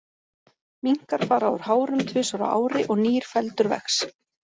Minkar fara úr hárum tvisvar á ári og nýr feldur vex.